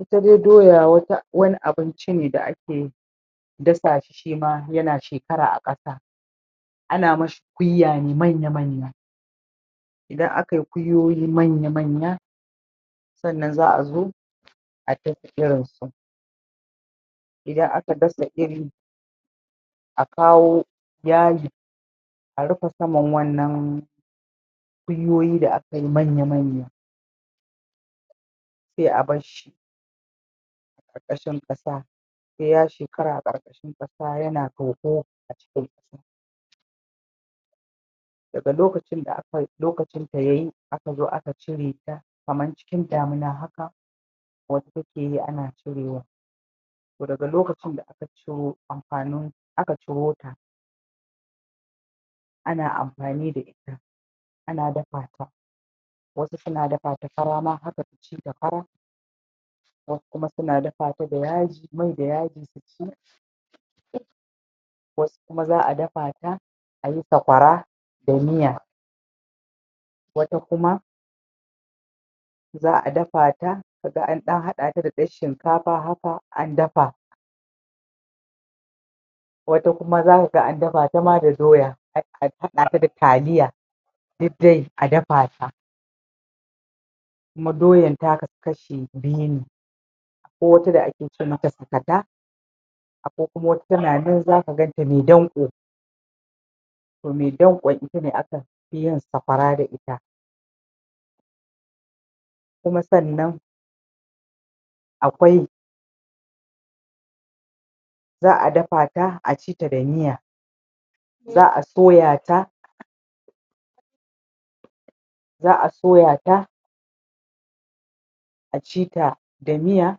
Ita dai doya wata wani abinci ne da ake dasa shi shima yana shekara a ƙasa ana mashi kwiwa ne manya-manya idan akai kwiyoyi manya-manya sannan za'zo a dasa irin su idan aka dasa iri a kawo yadi a rufe saman wannan kwiyoyi da akayi manya-manya sai a barshi a ƙarkashin ƙasa sai ya shekara a ƙarƙashin ƙasa yana toho a cikin ƙasa daga lokacin da aka lokacinta yayi akazo aka cirata kamar cikin damina wato takeyi ana cirewa to daga lokacin da aka ciro amfanin gon aka ciro ta ana amfani da ita ana dafa ta wasu suna dafata fara ma haka suci ta fara wasu kuma suna dafata da yaji mai da yaji su ci um wasu kuma za'a dafata ayi sakwara da miya wata kuma za'a dafata kaga an ɗan haɗata da ɗan shinkafa haka an dafa wata kuma zakaga an dafata ma da doya ah a haɗata da taliya duk dai a dafata kuma doyan ta kasu kashi biyu ne akwai wata da ake ce mata sakata akwai kuma wata tana nan zaga ganta mai danko to mai danƙon ita ne aka fi yin sakwara da ita kuma sannan akwai za'a dafata a ci ta da miya za'a soyata za'a soyata a ci ta da miya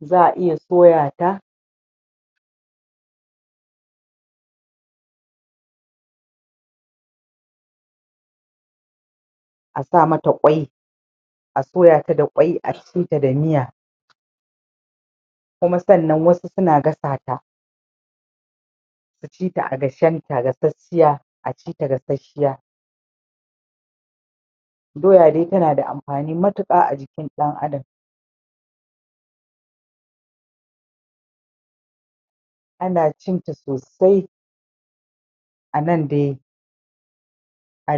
za'a iya soyata pause a sa mata kwai a soyata da kwai a ci ta da miya kuma sannan wasu suna gasa ta a ci ta gashenta, gasashshiya a ci ta gasashshiya doya dai tana da amfani matuƙa a jikin ɗan adam pause ana cin ta sosai a nan de arew